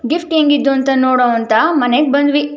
gift ಹೆಂಗಿದ್ದು ಅಂತ ನೋಡೋವ ಅಂತ ಮನೆಗೆ ಬಂದ್ವಿ